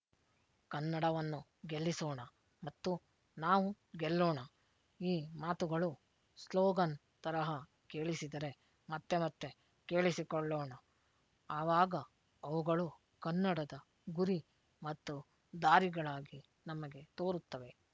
ಕನ್ನಡವನ್ನು ಗೆಲ್ಲಿಸೋಣ ಮತ್ತು ನಾವು ಗೆಲ್ಲೋಣ ಈ ಮಾತುಗಳು ಸ್ಲೋಗನ್ ತರಹ ಕೇಳಿಸಿದರೆ ಮತ್ತೆ ಮತ್ತೆ ಕೇಳಿಸಿಕೊಳ್ಳೋಣ ಆವಾಗ ಅವುಗಳು ಕನ್ನಡದ ಗುರಿ ಮತ್ತು ದಾರಿಗಳಾಗಿ ನಮಗೆ ತೋರುತ್ತವೆ